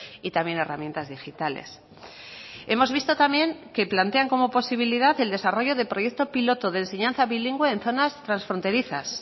y también herramientas digitales hemos visto también que plantean como posibilidad el desarrollo de proyecto piloto de enseñanza bilingüe en zonas transfronterizas